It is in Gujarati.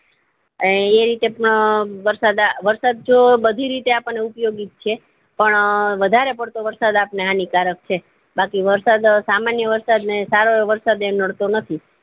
આય એ રીએત પણ વારસદ જો બધી રીતે આપણને ઉપયોગી છે પણ વધારે પડતો વરસાદ આપને હાનીકારક છે બાકી વરસાદ સામાન્ય વરસાદ ને સારો વરસાદ તે નડતો નથી